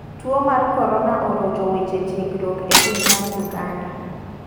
Tuo mar korona orocho weche tiegruok e piny mar Uganda.